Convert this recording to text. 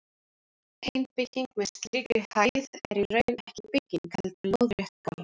Ein bygging með slíkri hæð er í raun ekki bygging, heldur lóðrétt borg.